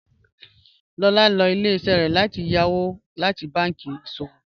Lọ́lá lọ ilẹ̀-iṣẹ rẹ láti yàwó láti bànki iṣọwọ